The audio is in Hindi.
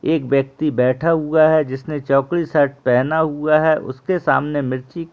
एक व्‍यक्ति बैठा हुआ है जिसने चौकी शर्ट पहना हुआ है उसके सामने मिर्ची --